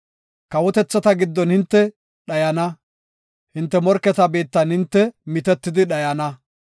Kawotethata giddon hinte dhayana; hinte morketa biittan hinte mitetidi dhayana.